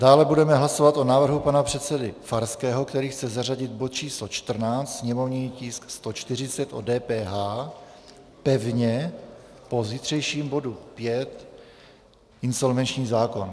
Dále budeme hlasovat o návrhu pana předsedy Farského, který chce zařadit bod číslo 14, sněmovní tisk 140, o DPH, pevně po zítřejším bodu 5, insolvenční zákon.